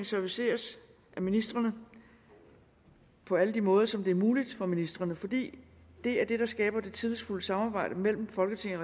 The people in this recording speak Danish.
serviceret af ministrene på alle de måder som det er muligt for ministrene for det er det der skaber det tillidsfulde samarbejde mellem folketinget